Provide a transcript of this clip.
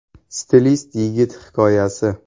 Stilist yigit hikoyasi.